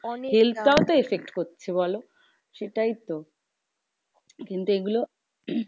health টাও তো effect করছে বলো সেটাই তো? কিন্তু এইগুলো